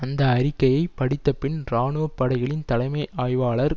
அந்த அறிக்கையை படித்தபின் இராணுவப்படைகளின் தலைமை ஆய்வாளர்